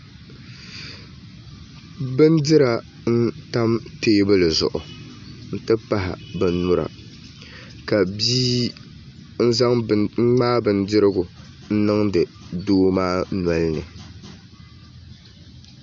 Bindira n tam teebuli zuɣu n ti pahi bin nyura ka bia ŋmaai bindirigu n biŋdi doo maa nolini